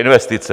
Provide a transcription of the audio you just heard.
Investice.